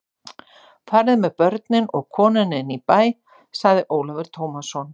Fariði með börnin og konuna inn í bæ, sagði Ólafur Tómasson.